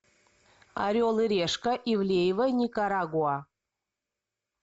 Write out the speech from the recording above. орел и решка ивлеева никарагуа